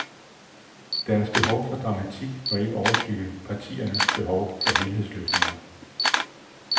Deres behov for dramatik må ikke overskygge partiernes behov for helhedsløsninger.